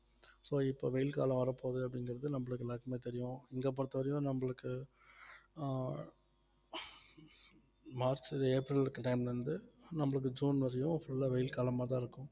so இப்ப வெயில் காலம் வரப்போகுது அப்படிங்கறது நம்மளுக்கு எல்லாருக்குமே தெரியும் இங்க பொறுத்தவரையிலும் நம்மளுக்கு ஆஹ் மார்ச் ஏப்ரல்க்கு time ல இருந்து நம்மளுக்கு ஜூன் வரையும் full ஆ வெயில் காலமாதான் இருக்கும்